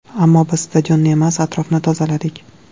Ammo biz stadionni emas, atrofni tozaladik.